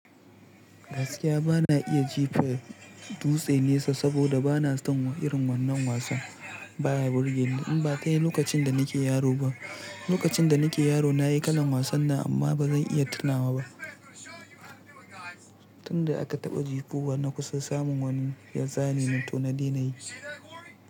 Gaskiya bana iya jifa dutse nesa saboda bana son irin wannan wasan. Ba ya burge ni in ba tayi lokacin da nake yaro ba. Lokacin da nake yaro na yi kalan wasan nan amma ba zan iya tunawa ba. Tun da aka taɓa jefa wa na kusa samun wani yasa to na daina yi.